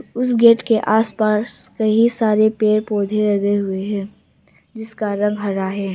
उस गेट के आस पास कई सारे पेड़ पौधे लगे हुए हैं जिसका रंग हरा है।